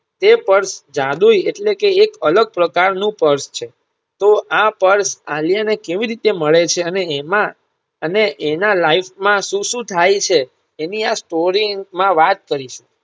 તે Purse જાદુઈ એટલેકે એક અલગ પ્રકારનું Purse છે. તો આ Purse આલ્યા ને કેવી રીતે મળે છે અને એમાં અને એના life શું શું થાય છે. તેની આ Story માં વાત કરી છે.